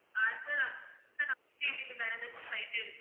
ஆஹ் sir வேற ஏதாச்சும் flight